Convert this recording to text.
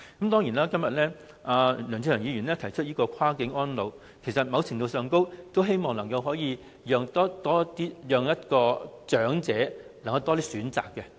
當然，今天梁志祥議員提出"跨境安老"議案，其實某程度上，都希望能夠讓長者有更多選擇。